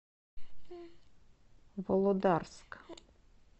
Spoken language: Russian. володарск